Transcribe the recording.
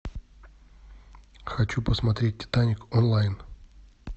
хочу посмотреть титаник онлайн